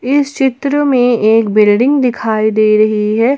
इस चित्र में एक बिल्डिंग दिखाई दे रही है।